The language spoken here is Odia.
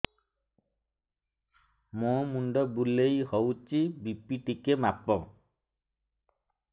ମୋ ମୁଣ୍ଡ ବୁଲେଇ ହଉଚି ବି.ପି ଟିକେ ମାପ